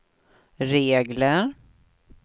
regler